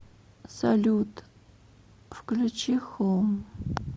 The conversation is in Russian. салют включи хоум